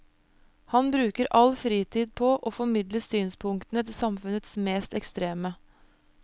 Han bruker all fritid på å formidle synspunktene til samfunnets mest ekstreme.